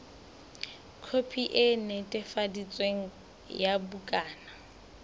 khopi e netefaditsweng ya bukana